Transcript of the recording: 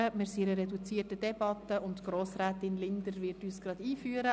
Wir führen eine reduzierte Debatte, und Grossrätin Linder wird uns nun einführen.